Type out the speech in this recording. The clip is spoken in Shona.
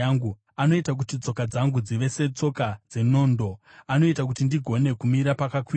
Anoita kuti tsoka dzangu dzive setsoka dzenondo; anoita kuti ndigone kumira pakakwirira.